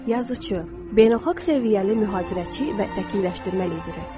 Yazıçı, beynəlxalq səviyyəli mühazirəçi və vəkilləşdirmə lideri.